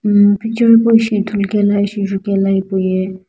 umm picture hipou ishi ithulu kae ishi jukaelo ye.